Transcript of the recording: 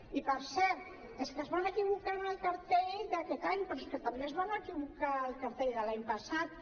i per cert és que es van equivocar en el cartell d’aquest any però és que també es van equivocar al cartell de l’any passat